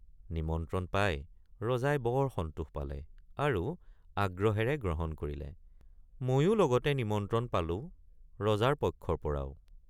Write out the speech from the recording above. নিমন্ত্ৰণ পাই ৰজাই বৰ সন্তোষ পালে আৰু আগ্ৰহেৰে গ্ৰহণ কৰিলে ময়ো লগতে নিমন্ত্ৰণ পালো ৰজাৰ পক্ষৰপৰাও।